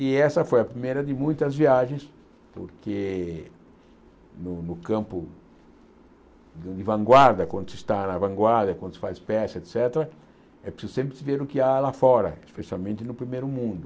E essa foi a primeira de muitas viagens, porque no no campo de vanguarda, quando se está na vanguarda, quando se faz peça, et cétera, é preciso sempre ver o que há lá fora, especialmente no primeiro mundo.